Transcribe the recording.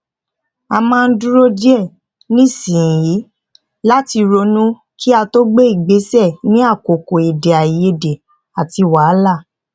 a máa ń dúró díẹ nísìnyí láti ronú kí a tó gbé ìgbésẹ ní àkókò èdè àìyedè àti wàhálà